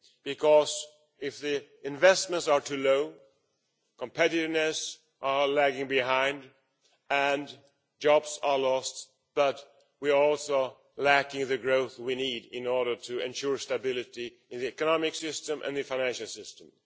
Because, if investments are too low, competitiveness lags behind and jobs are lost, but we are also lacking the growth we need in order to ensure stability in the economic system and the financial system.